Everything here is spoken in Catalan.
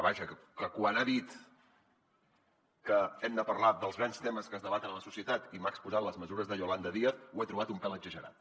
vaja que quan ha dit que hem de parlar dels grans temes que es debaten a la societat i m’ha exposat les mesures de yolanda díaz ho he trobat un pèl exagerat